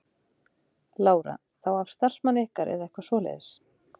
Lára: Þá af starfsmanni ykkar eða eitthvað svoleiðis?